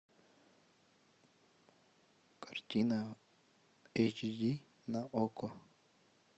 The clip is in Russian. картина эйч ди на окко